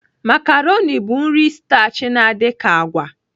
Makaroni bụ nri stachi na-adị ka agwa.